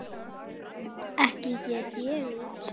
Ekki get ég út